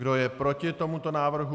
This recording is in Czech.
Kdo je proti tomuto návrhu?